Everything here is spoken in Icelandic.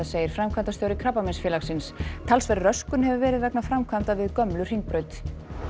segir framkvæmdastjóri Krabbameinsfélagsins talsverð röskun hefur verið vegna framkvæmda við gömlu Hringbraut